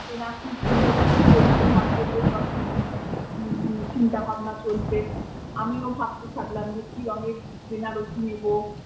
কেনা কি কিনবে কি করবে না করবে সব ঠিক চিন্তা ভাবনা চলছে আমিও ভাবতে থাকলাম যে কি রঙের বেনারসি নেবো।